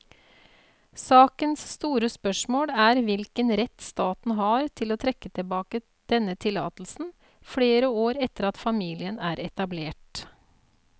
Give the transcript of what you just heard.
Sakens store spørsmål er hvilken rett staten har til å trekke tilbake denne tillatelsen flere år etter at familien er etablert.